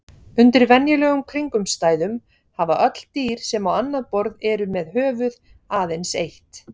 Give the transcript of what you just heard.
Undir venjulegum kringumstæðum hafa öll dýr sem á annað borð eru með höfuð aðeins eitt.